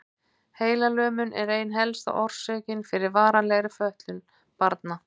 Heilalömun er ein helsta orsökin fyrir varanlegri fötlun barna.